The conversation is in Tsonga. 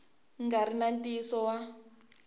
nga ri na ntiyiso wa